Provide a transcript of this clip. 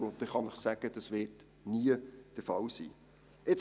Ich kann Ihnen sagen, dass dies nie der Fall sein wird.